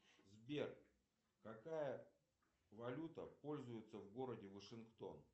сбер какая валюта пользуется в городе вашингтон